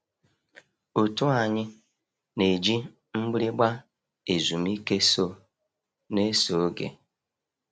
Otu anyị na-eji mgbịrịgba ezumike so n'eso oge.